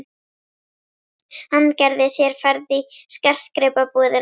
Hann gerði sér ferð í skartgripabúðina.